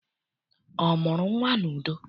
Ọ mụrụ nnwa n'udo?